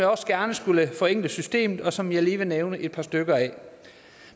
også gerne skulle forenkle systemet og som jeg lige vil nævne et par stykker af